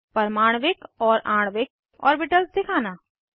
परमाण्विक और आणविक ऑर्बिटल्स दिखाना